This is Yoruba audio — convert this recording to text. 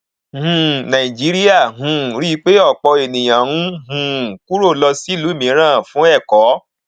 um nàìjíríà um rí i pé ọpọ èèyàn ń um kúrò lọ sílù míran fún ẹkọ